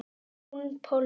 Jón Pálmi.